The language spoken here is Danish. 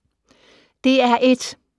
DR1